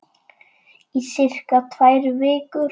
Í sirka tvær vikur.